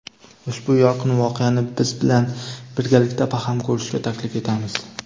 Ushbu yorqin voqeani biz bilan birgalikda baham ko‘rishga taklif etamiz.